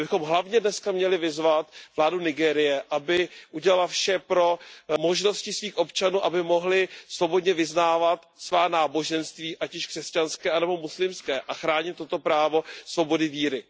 My bychom hlavně dnes měli vyzvat vládu Nigérie, aby udělala vše pro možnosti svých občanů, aby mohli svobodně vyznávat svá náboženství, ať již křesťanské anebo muslimské, a chránit toto právo svobody víry.